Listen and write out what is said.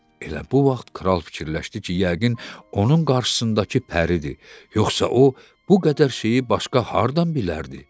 Elə bu vaxt kral fikirləşdi ki, yəqin onun qarşısındakı pəridir, yoxsa o bu qədər şeyi başqa hardan bilərdi?